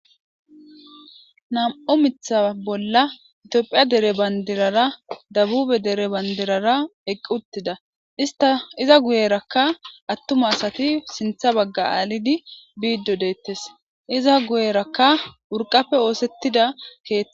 Namu miththa bola tophphiya banidirara debube dere banidirara eqi utida issita iza guyerakka atuma asati sinththa bagga alidi biddi deetesi iza guyerakka uriqa osetida keethe